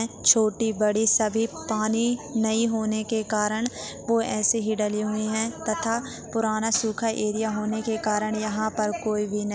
छोटी-बड़ी सभी पानी नहीं होने के कारण वो ऐसे ही डली हुई है तथा पुराना सुखा एरिया होने के कारण यहाँ पर कोई भी नहीं --